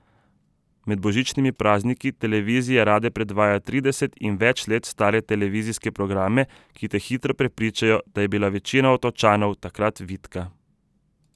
Med božičnimi prazniki televizije rade predvajajo trideset in več let stare televizijske programe, ki te hitro prepričajo, da je bila večina Otočanov takrat vitka.